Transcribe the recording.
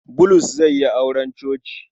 Bulus zai yi auren coci.